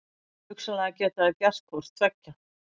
Hugsanlega geta þær gert hvort tveggja.